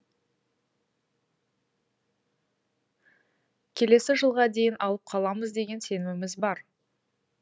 келесі жылға дейін алып қаламыз деген сеніміміз бар